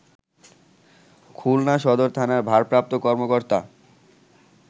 খুলনা সদর থানার ভারপ্রাপ্ত কর্মকর্তা